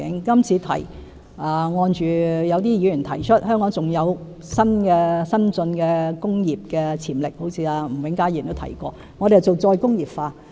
今次我們是按某些議員提出，香港有發展新進工業的潛力，好像吳永嘉議員也曾提及，我們要進行再工業化。